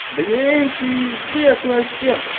блин пиздец вообще